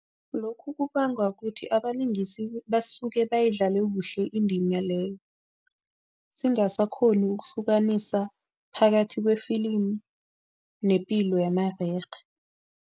Lokhu kubangwa kuthi abalingisi basuke bayidlale kuhle indima leyo, singasakghoni ukuhlukanisa phakathi kwefilimi nepilo yamarerhe.